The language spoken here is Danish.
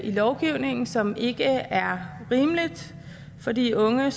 lovgivningen som ikke er rimeligt for de unge